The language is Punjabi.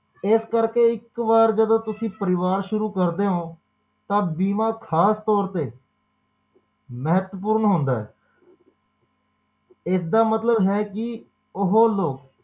ਏਸ ਕਰਕੇ ਇੱਕ ਵਾਰ ਜਦੋ ਤੁਸੀ ਪਰਿਵਾਰ ਸ਼ੁਰੂ ਕਰਦੇ ਹੋ ਤਾ ਬੀਮਾ ਖਾਸ ਤੌਰ ਤੇ ਮਹੱਤਵ ਪੂਰਨ ਹੁੰਦਾ ਇਸ ਦਾ ਮਤਲਬ ਹੈ ਕਿ ਓਹੋ ਲੋਕ